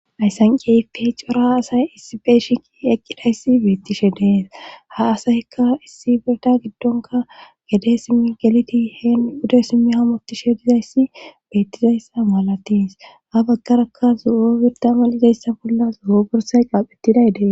Ayssan qeype cora asay issi beeshiki eqqidayssi beettishe dees ha asayyka issi birda giddonka gede simmi geliti heen buda simmi hamoti shedizayssi beettizayssa maalatis ha baggaraka zo'o birda ma l'izayssa bolla zu'o borsay qaaphettidaydee.